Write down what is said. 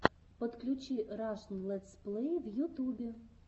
подключи рашн летсплэй в ютубе